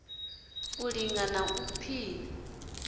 u linga na u pima